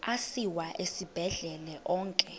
asiwa esibhedlele onke